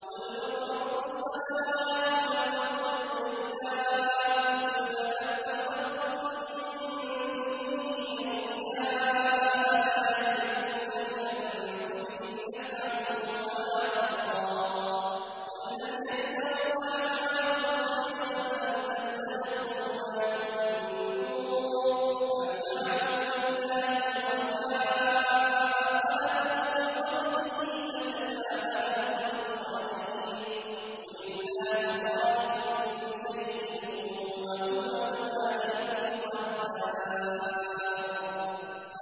قُلْ مَن رَّبُّ السَّمَاوَاتِ وَالْأَرْضِ قُلِ اللَّهُ ۚ قُلْ أَفَاتَّخَذْتُم مِّن دُونِهِ أَوْلِيَاءَ لَا يَمْلِكُونَ لِأَنفُسِهِمْ نَفْعًا وَلَا ضَرًّا ۚ قُلْ هَلْ يَسْتَوِي الْأَعْمَىٰ وَالْبَصِيرُ أَمْ هَلْ تَسْتَوِي الظُّلُمَاتُ وَالنُّورُ ۗ أَمْ جَعَلُوا لِلَّهِ شُرَكَاءَ خَلَقُوا كَخَلْقِهِ فَتَشَابَهَ الْخَلْقُ عَلَيْهِمْ ۚ قُلِ اللَّهُ خَالِقُ كُلِّ شَيْءٍ وَهُوَ الْوَاحِدُ الْقَهَّارُ